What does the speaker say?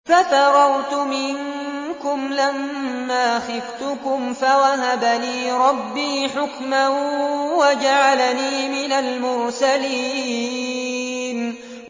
فَفَرَرْتُ مِنكُمْ لَمَّا خِفْتُكُمْ فَوَهَبَ لِي رَبِّي حُكْمًا وَجَعَلَنِي مِنَ الْمُرْسَلِينَ